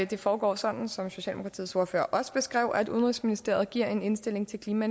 det foregår sådan som socialdemokratiets ordfører også beskrev at udenrigsministeriet giver en indstilling til klima